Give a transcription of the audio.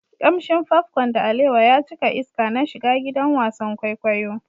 Kamshin popcorn da alewa ya cika iska na shiga gidan wasan kwaikwayo.